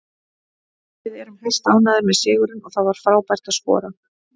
Við erum hæstánægðir með sigurinn og það var frábært að skora.